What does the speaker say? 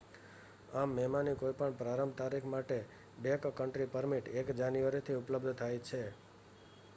આમ મેમાંની કોઈ પણ પ્રારંભ તારીખ માટે બૅકકન્ટ્રી પરમિટ 1 જાન્યુઆરીથી ઉપલબ્ધ થાય છે